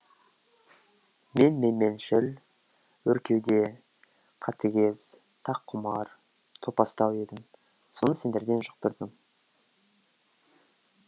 мен менменшіл өркеуде қатігез таққұмар топастау едім соны сендерден жұқтырдым